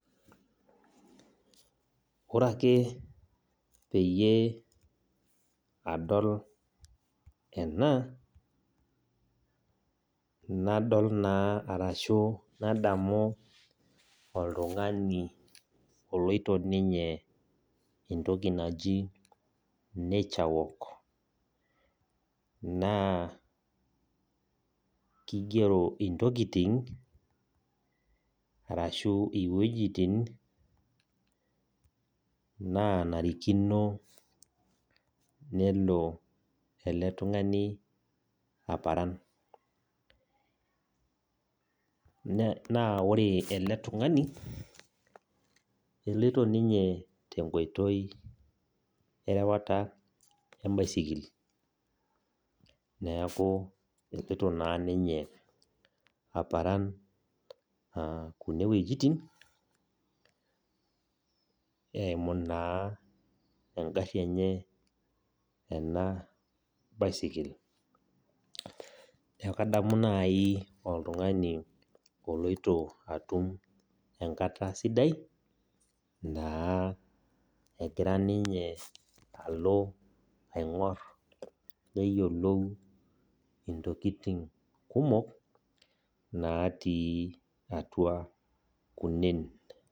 Ore ake peyie adol ena, nadol naa arashu adamu oltung'ani oloito ninye entoki naji nature walk. Naa keigero intokitin, arashu iwuejitin naanarikino nelo ele tung'ani aparan. Naa ore ele tung'ani eloito ninye tenkoitoi erewata embaisikili. Neaku eloito naa ninye aparan kuna wuetin, eimu naa engari enye ena baisikeli. Neaku adamu naaji oltung'ani oloito atum enkata sidai, naa egira ninye alo aing'or neyiolou intokitin kumok natii atua kunen.